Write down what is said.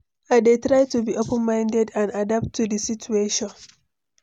i dey try to be open-minded and adapt to di situation.